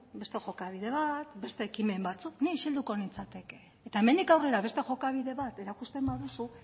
beste jokabide bat beste ekimen batzuk ni isilduko nintzateke eta hemendik aurrera beste jokabide bat erakusten baduzu